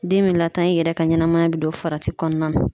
Den be latanya, i yɛrɛ ka ɲɛnamaya be don farati kɔnɔna na.